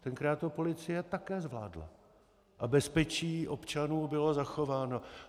Tenkrát to policie také zvládla a bezpečí občanů bylo zachováno.